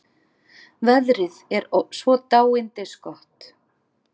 Veðrið er svo dáindisgott.